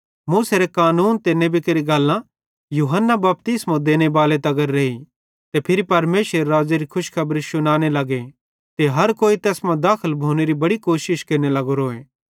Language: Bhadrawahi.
मूसेरे कानून ते नेबी केरि गल्लां यूहन्ना बपतिस्मो देनेबाले तगर रेइ ते फिरी परमेशरेरे राज़्ज़ेरी खुशखबरी शुनाने लगे ते हर कोई तैस मां दाखल भोनेरी बड़ी कोशिश केरने लगोरेन